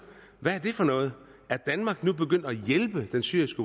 hvad er det for noget er danmark nu begyndt at hjælpe den syriske